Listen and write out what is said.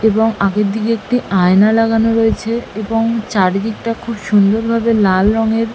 এবং আগের দিকে একটি আয়না লাগানো রয়েছে এবং চারিদিকটা খুব সুন্দর ভাবে লাল রঙের--